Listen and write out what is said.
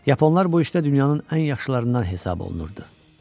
Yaponlar bu işdə dünyanın ən yaxşılarından hesab olunurdu.